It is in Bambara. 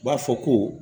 U b'a fɔ ko